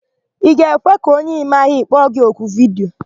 Ị ga-ekwe ka onye ị maghị kpọ gi oku vidiyo?